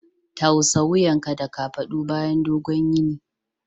Tausa wuyanka da kafadu bayan dogon yini.